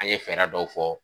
A ye fɛɛrɛ dɔw fɔ